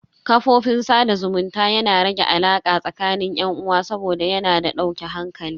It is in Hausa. Kafofin sada zumunta yana rage alaka tsakanin yan uwa saboda yana da dauke hankali.